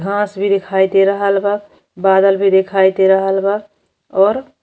घास भी दिखाई दे रहल बा। बादल भी दिखाई दे रहल बा और --